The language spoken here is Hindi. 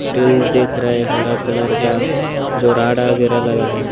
टिन देख रहे हे हरा कलर का जो राड वगेरा लगा है ।